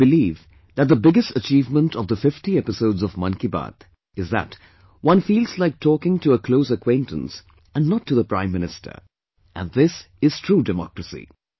I believe that the biggest achievement of the 50 episodes of Mann Ki Baat is that one feels like talking to a close acquaintance and not to the Prime Minister, and this is true democracy